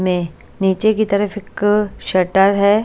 में नीचे की तरफ एक शटर हैं।